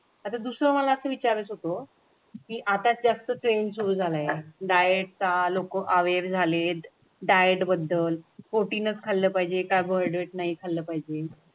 आता दुसरं असं विचारत होतो की आता जास्त ट्रेंड सुरू झाल्या. डायटचा आलोक वेर झाले. डायट बद्दल प्रोटीन खाल्लं पाहिजे काय carbohydrate नाही खाल्लं पाहिजे.